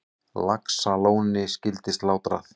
Laxalóni skyldi slátrað.